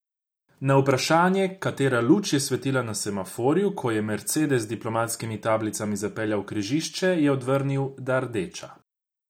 Na vprašanje, katera luč je svetila na semaforju, ko je mercedes z diplomatskimi tablicami zapeljal v križišče, je odvrnil, da rdeča.